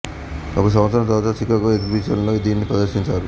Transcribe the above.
ఒక సంవత్సరం తరువాత చికాగో ఎగ్జిబిషన్ లో దీన్ని ప్రదర్శించారు